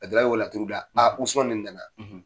A dan ye o laturu da, Usumani ni nana.